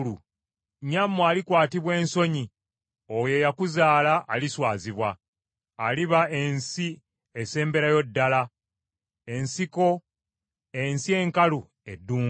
nnyammwe alikwatibwa ensonyi; oyo eyakuzaala aliswazibwa. Aliba ensi esemberayo ddala, ensiko, ensi enkalu, eddungu.